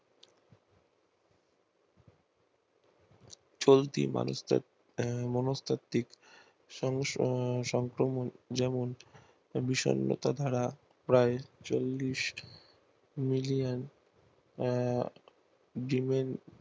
চলতি মানুষ দের মনস্তাত্ত্বিক বিষন্নতা ধারা প্রায় চল্লিশ